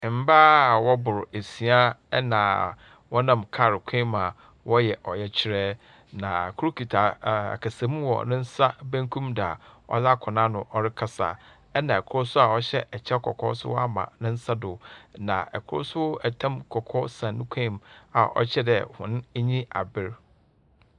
Mbaa wɔbor esia na wɔnam kaar kwan mu a wɔreyɛ ɔyɛkyerɛ, na kor kitsa akasamu wɔ ne nsa bankum do a ɔdze akɔ n’ano ɔrekasa, na kor so a ɔhyɛ kyɛw kɔkɔɔ no so ɔama ne nsa do, na kor so tam kɔkɔɔ san no kɔnmu a ɔkyerɛ dɛ hɔn anyi aber.